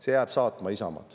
See jääb saatma Isamaad.